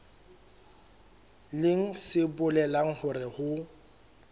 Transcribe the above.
leng se bolelang hore ho